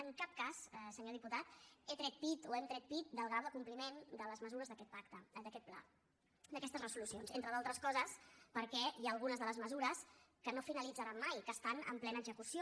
en cap cas senyor diputat he tret pit o hem tret pit del grau de compliment de les mesures d’aquest pacte d’aquest pla d’aquestes resolucions entre d’altres coses perquè hi ha algunes de les mesures que no finalitzaran mai que estan en plena execució